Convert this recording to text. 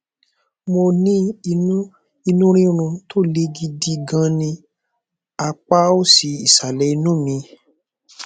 mo ní inú inú rírun tó le gidi gan ní apá òsì ìsàlẹ inú mi